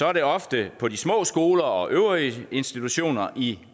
er det ofte på de små skoler og øvrige institutioner i